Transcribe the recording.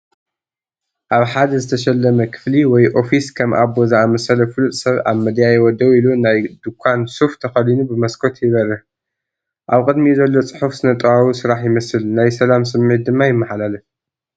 ኣብ ሓደ ዝተሸለመ ክፍሊ ወይ ኦፊስ፡ ከም ኣቦ ዝኣመሰለ ፍሉጥ ሰብ ኣብ መደያይቦ ደው ኢሉ ናይ ድኳን ሱፍ ተኸዲኑ ብመስኮት ይበርህ። ኣብ ቅድሚኡ ዘሎ ጽሑፍ ስነ-ጥበባዊ ስራሕ ይመስል ናይ ሰላም ስምዒት ድማ ይመሓላለፍ።